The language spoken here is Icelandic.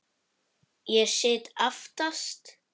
Ég sit aftast.